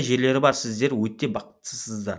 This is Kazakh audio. жерлері бар сіздер өте бақыттысыздар